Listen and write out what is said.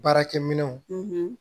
Baarakɛminɛnw